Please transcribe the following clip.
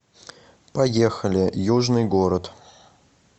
поехали южный город